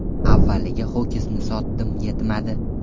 Avvaliga ho‘kizni sotdim yetmadi.